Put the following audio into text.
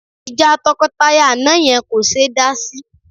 Ìjà tọkọtaya àná yẹn kò ṣe é dá sí